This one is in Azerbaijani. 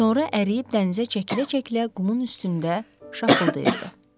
Sonra əriyib dənizə çəkilə-çəkilə qumun üstündə şapıldayırdı.